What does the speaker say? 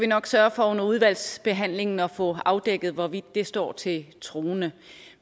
nok sørge for under udvalgsbehandlingen at få afdækket hvorvidt det står til troende